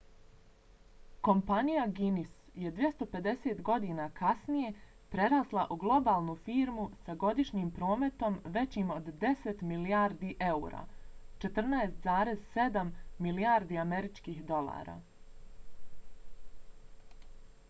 kompanija guinness je 250 godina kasnije prerasla u globalnu firmu sa godišnjim prometom većim od 10 milijardi eura 14,7 milijardi američkih dolara